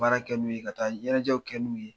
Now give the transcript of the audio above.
Baara kɛ n'u ye ka taa ɲɛnajɛw kɛ n'u ye.